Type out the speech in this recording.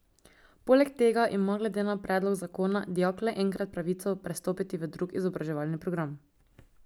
Poleg tega ima glede na predlog zakona dijak le enkrat pravico prestopiti v drug izobraževalni program.